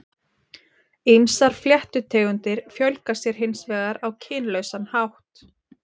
Ýmsar fléttutegundir fjölga sér hins vegar á kynlausan hátt.